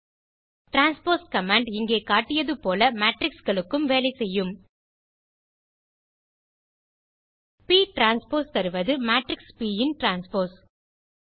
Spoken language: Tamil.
டிரான்ஸ்போஸ் கமாண்ட் இங்கே காட்டியது போல மேட்ரிக்ஸ் களுக்கும் வேலை செய்யும் ப் டிரான்ஸ்போஸ் தருவது மேட்ரிக்ஸ் ப் ன் டிரான்ஸ்போஸ்